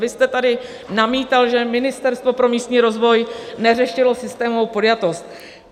Vy jste tady namítal, že Ministerstvo pro místní rozvoj neřešilo systémovou podjatost.